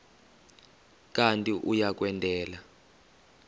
kanti uia kwendela